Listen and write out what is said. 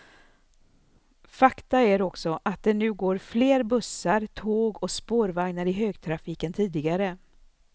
Fakta är också att det nu går fler bussar, tåg och spårvagnar i högtrafik än tidigare.